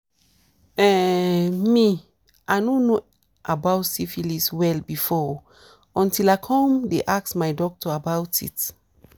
um me i no know about syphilis well before oo until i come the ask my doctor about it